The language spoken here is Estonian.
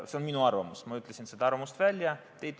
See on minu arvamus, ma ütlesin oma arvamuse välja.